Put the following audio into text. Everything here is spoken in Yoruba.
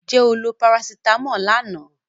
Did you take paracetamol yesterday?